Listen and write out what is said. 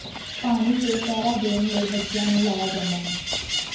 ਪਾਣੀ ਤੇ ਪਹਿਰਾ ਦੇਣ ਲਈ ਬੱਚਿਆਂ ਨੂੰ ਲਾਇਆ ਜਾਂਦਾ ਹੈ